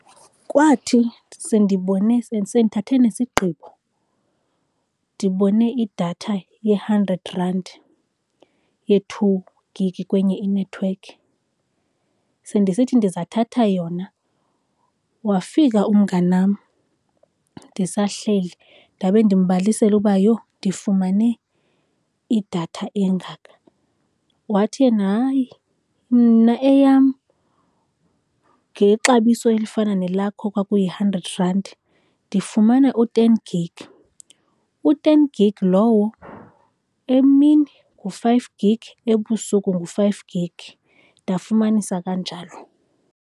Kwathi sendibone ke sendithathe nesigqibo, ndibone idatha ye-hundred rand ye-two gigi kwenye inethiwekhi, sendisithi ndizathatha yona, wafika umnganam ndisahleli. Ndabe ndimbalisela uba yho ndifumane idatha engaka, wathi yena hayi, mna eyam ngexabiso elifana nelakho kwakuyi-hundred rand ndifumana u-ten gig. U-ten gig lowo emini ngu-five gig ebusuku ngu-five gig. Ndafumanisa kanjalo.